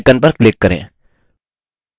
tux typing icon पर click करें